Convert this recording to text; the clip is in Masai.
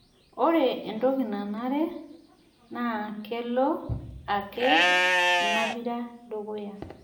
Ore entoki nanare naa kelo ake inapira dukuya